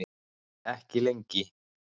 Ekki lengi.